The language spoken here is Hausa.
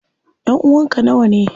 Ƴanʼuwan ka nawane?